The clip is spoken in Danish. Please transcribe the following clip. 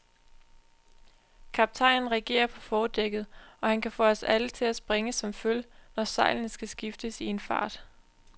Kaptajnen regerer på fordækket, og han kan få os alle til at springe som føl, når sejlene skal skiftes i en fart.